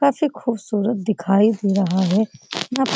काफी ख़ूबसूरत दिखाई दे रहा है । यहाँ --